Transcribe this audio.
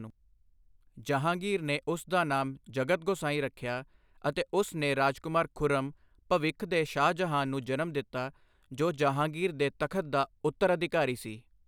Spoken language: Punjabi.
ਜਹਾਂਗੀਰ ਨੇ ਉਸ ਦਾ ਨਾਮ ਜਗਤ ਗੋਸਾਈਂ ਰੱਖਿਆ ਅਤੇ ਉਸ ਨੇ ਰਾਜਕੁਮਾਰ ਖੁਰਮ ਭਵਿੱਖ ਦੇ ਸ਼ਾਹਜਹਾਂ ਨੂੰ ਜਨਮ ਦਿੱਤਾ, ਜੋ ਜਹਾਂਗੀਰ ਦੇ ਤਖ਼ਤ ਦਾ ਉੱਤਰਾਧਿਕਾਰੀ ਸੀ।